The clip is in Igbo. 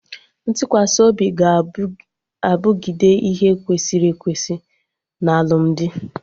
Ntụkwasị obi ga-abụgide ihe kwesịrị ekwesị na alụmdi